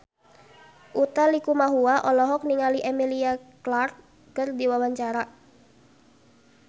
Utha Likumahua olohok ningali Emilia Clarke keur diwawancara